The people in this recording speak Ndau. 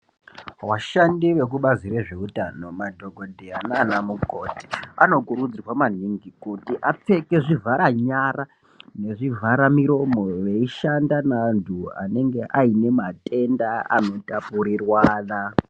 Vashandi veku bazi re zveutano madhokodheya nana mukoti anokurudzirwa maningi kuti apfeka zvivhara nyara nezvi vhara miromo veyi shanda ne antu anenge ayine matenda ano tapurirwana.